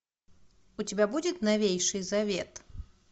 у тебя будет новейший завет